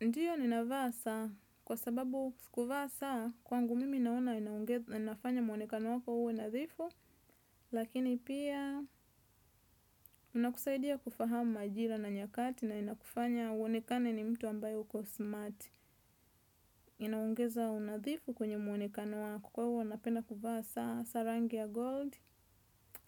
Ndiyo ninavaa saa kwa sababu kuvaa saa kwangu mimi naona inafanya muonekano wako uwe nadhifu lakini pia unakusaidia kufahamu majira na nyakati na inakufanya uonekane ni mtu ambaye uko smart inaongeza unathifu kwenye muonekano wako kwa hivyo napenda kuvaa saa sa rangi ya gold